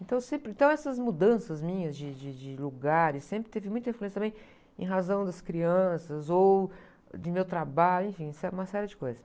Então sempre... Então essas mudanças minhas de, de, de lugares sempre teve muita influência também em razão das crianças ou do meu trabalho, enfim, uma série de coisas.